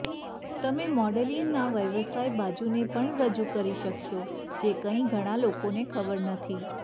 તમે મોડેલિંગના વ્યવસાય બાજુને પણ રજૂ કરી શકશો જે કંઈક ઘણાં લોકોને ખબર નથી